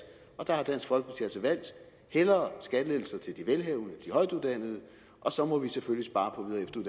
og der har dansk folkeparti altså valgt hellere skattelettelser til de velhavende og højtuddannede og så må vi selvfølgelig spare